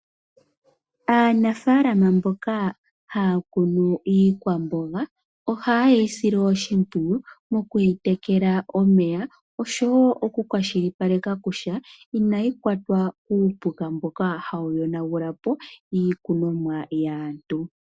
Aanafaama mboka haya kunu iikwamboga, oha yeyi aile oshimpwiyu mokuyi tekela omeya oshowo oku kwashilipalekakutya inayi kwatwa kuupuka mboka hawu yonagulapo iikunomwa yaantu.